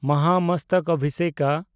ᱢᱚᱦᱟᱢᱚᱥᱛᱟᱠᱟᱵᱷᱤᱥᱮᱠᱟ